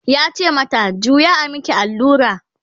yace mata "juya a maki allura!"